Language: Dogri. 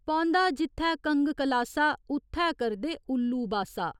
पौंदा जित्थै कंग कलासा, उत्थै करदे उल्लू बासा।